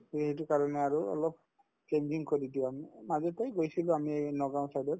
তে সেইটো কাৰণে আৰু অলপ changing কৰি দিয়া হয় আগতে গৈছিলো আমি এই নগাওঁ side ত